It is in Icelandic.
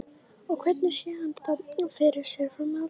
Og hvernig sé hann þá fyrir sér framhaldið?